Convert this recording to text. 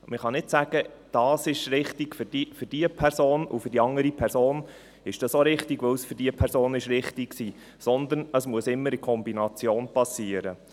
Man kann nicht sagen, dies sei für diese Person richtig und für die andere Person sei dasselbe auch richtig, weil es für die andere Person richtig war, sondern es muss immer in Kombination passieren.